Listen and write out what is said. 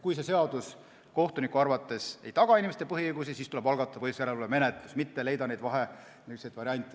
Kui see seadus kohtuniku arvates ei taga inimeste põhiõigusi, siis tuleb algatada põhiseaduslikkuse järelevalve menetlus, mitte otsida vahevariante.